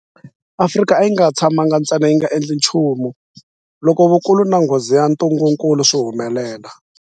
Afrika a yi nga tshamangi ntsena yi nga endli nchumu loko vukulu na nghozi ya ntungukulu swi humelela.